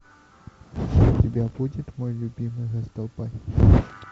у тебя будет мой любимый раздолбай